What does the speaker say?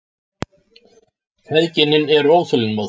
Feðginin eru óþolinmóð.